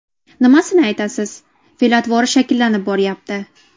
Nimasini aytasiz, fe’l-atvori shakllanib boryapti.